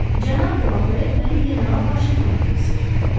Cənab de La Fayet məni general Vaşinqtona tövsiyə etdi.